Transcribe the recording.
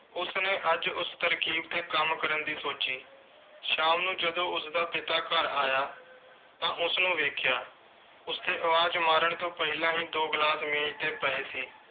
ਉਸਨੇ ਅੱਜ ਉਸ ਤਰਕੀਬ 'ਤੇ ਕੰਮ ਕਰਨ ਦੀ ਸੋਚੀ। ਸ਼ਾਮ ਨੂੰ ਜਦੋਂ ਉਸਦਾ ਪਿਤਾ ਘਰ ਆਇਆ ਤਾਂ ਉਸਨੂੰ ਵੇਖਿਆ। ਉਸਦੇ ਆਵਾਜ਼ ਮਾਰਨ ਤੋਂ ਪਹਿਲਾਂ ਹੀ ਦੋ glass ਮੇਜ਼ 'ਤੇ ਪਏ ਸੀ।